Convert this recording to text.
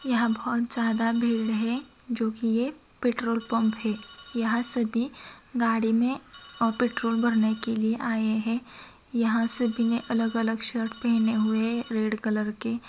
यहाँ बहुत ज्यादा भीड़ है जो की ये पेट्रोल पंप है यहाँ सभी गाड़ी में अ पेट्रोल भरने के लिए आए है यहाँ सभी ने अलग-अलग शर्ट पेहेने हुए है रेड कलर के --